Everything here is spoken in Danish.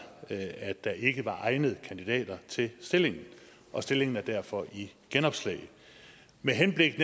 at der ikke var egnede kandidater til stillingen og stillingen er derfor i genopslag med henblik